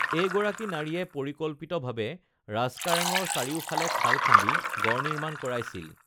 এই গৰাকী নাৰীয়ে পৰিকল্পিত ভাবে ৰাজকাৰেঙৰ চাৰিও ফালে খাল খান্দি গড় নিৰ্মান কৰাইছিল